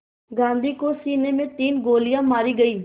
गांधी को सीने में तीन गोलियां मारी गईं